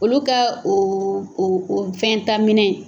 Olu ka o o o fɛn taminɛ.